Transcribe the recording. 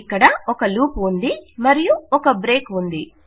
ఇక్కడ ఒక లూప్ ఉంది మరియు ఒక బ్రేక్ ఉంది